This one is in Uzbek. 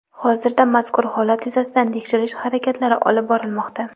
Hozirda mazkur holat yuzasidan tekshirish harakatlari olib borilmoqda.